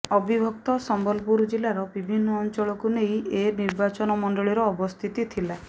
ଅବିଭକ୍ତ ସମ୍ବଲପୁର ଜିଲ୍ଲାର ବିଭିନ୍ନ ଅଞ୍ଚଳକୁ ନେଇ ଏ ନିର୍ବାଚନ ମଣ୍ଡଳୀର ଅବସ୍ଥିତି ଥିଲା